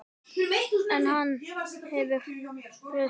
En hann hefur breyst.